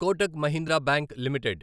Kotak Mahindra bank limited